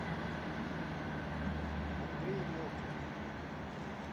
андрей мокин